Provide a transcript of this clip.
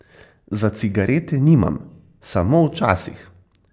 Za cigarete nimam, samo včasih.